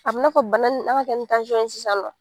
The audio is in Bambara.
A bɛn'a fɔ bana nin an ka kɛ ni tansɔn ye sisan nɔ.